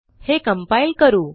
हे कंपाइल करू